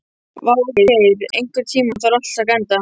Végeir, einhvern tímann þarf allt að taka enda.